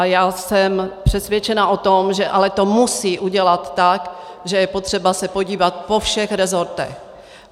A já jsem přesvědčena o tom, že to ale musí udělat tak, že je potřeba se podívat po všech resortech.